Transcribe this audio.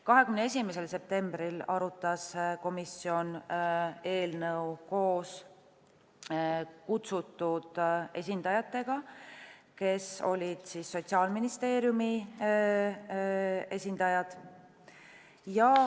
21. septembril arutas komisjon eelnõu koos kutsutud esindajatega, kes olid Sotsiaalministeeriumi esindajad.